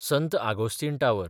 संत आगोस्तीन टावर